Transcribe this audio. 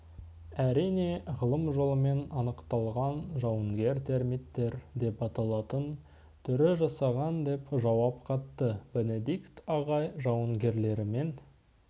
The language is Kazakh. әрине ғылым жолымен анықталған жауынгер термиттер деп аталатын түрі жасаған деп жауап қатты бенедикт ағай жауынгерлігімен